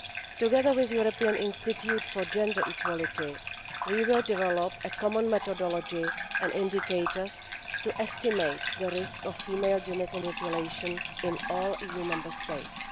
Together with the European Institute for Gender Equality, we will develop a common methodology and indicators to estimate the risk of female genital mutilation in all EU Member States.